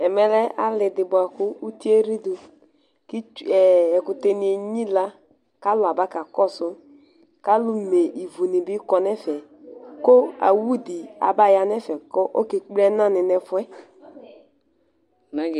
Ɛmɛ lɛ ali di buaku uti eɣlidu, k'ɛkutɛ ni enyila, k'alu aba ka kɔsu, k'alu mé ivu ni bi kɔ nu ɛfɛ, ku awú di aba ya nu ɛfɛ k'ɔka ekple ɛnàni n'ɛfuɛ